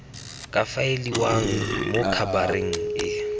ka faeliwang mo khabareng e